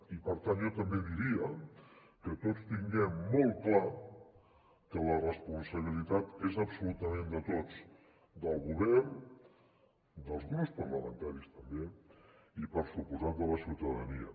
i per tant jo també diria que tots tinguem molt clar que la responsabilitat és absolutament de tots del govern dels grups parlamentaris també i per descomptat de la ciutadania